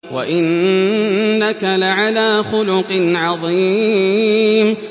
وَإِنَّكَ لَعَلَىٰ خُلُقٍ عَظِيمٍ